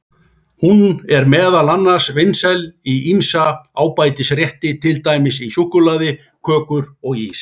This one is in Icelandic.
Hún er meðal annars vinsæl í ýmsa ábætisrétti, til dæmis í súkkulaði, kökur og ís.